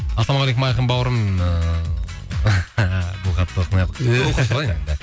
ассалаумағалейкум айқын бауырым ыыы бұл хатты оқымай ақ